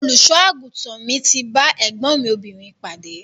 Olùṣọ àgùntàn mi ti ba ẹgbọn mi obìnrin pade.